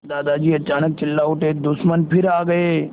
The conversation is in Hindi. दादाजी अचानक चिल्ला उठे दुश्मन फिर आ गए